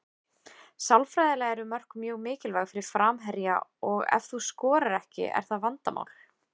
Sálfræðilega eru mörk mjög mikilvæg fyrir framherja og ef þú skorar ekki er það vandamál.